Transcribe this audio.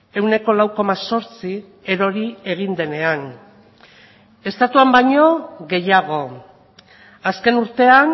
ehuneko lau koma zortzi erori egin denean estatuan baino gehiago azken urtean